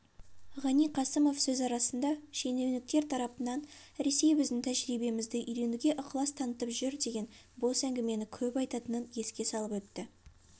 ғани қасымов сөз арасында шенеуніктер тарапынан ресей біздің тәжірибемізді үйренуге ықылас танытып жүр деген бос әңгімені көп айтатынын еске салып өтті